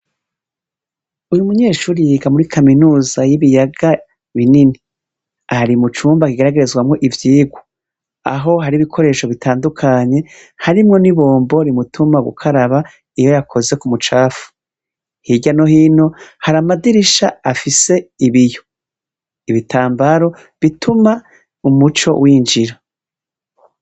Uyu munyeshuri yiga muri kaminuza y'ibiyaga binini, ahari mucumba akigeragerezwamwo ivyirwa, aho hari ibikoresho bitandukanye harimwo ni bombo rimutuma gukaraba iyo yakoze ku mucafu, hirya no hino har’amadirisha afise ibiyo ibitambaro bituma umuco winjira.